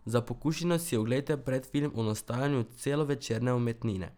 Za pokušino si oglejte predfilm o nastajanju celovečerne umetnine.